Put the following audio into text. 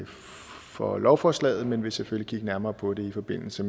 for lovforslaget men vil selvfølgelig kigge nærmere på det i forbindelse